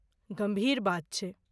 गम्भीर बात छै।